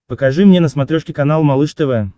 покажи мне на смотрешке канал малыш тв